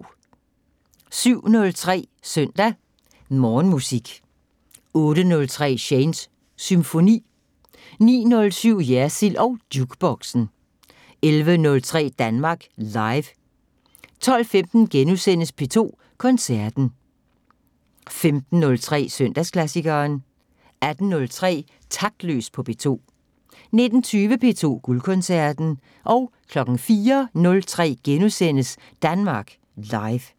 07:03: Søndag Morgenmusik 08:03: Shanes Symfoni 09:07: Jersild og Jukeboxen 11:03: Danmark Live 12:15: P2 Koncerten * 15:03: Søndagsklassikeren 18:03: Taktløs på P2 19:20: P2 Guldkoncerten 04:03: Danmark Live *